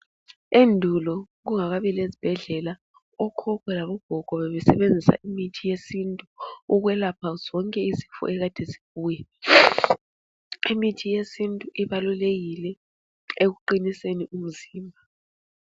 Endulo kungakabi lezibhedlela okhokho labo gogo bebesebenzisa imithi yesintu ukwelapha zonke izifo ekade zibuya. Imithi yesintu ibalulekike ekuqiniseni imzimba.